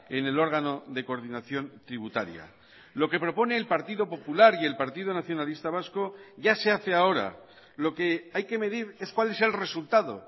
en el órgano de coordinación tributaria lo que propone el partido popular y el partido nacionalista vasco ya se hace ahora lo que hay que medir es cuál es el resultado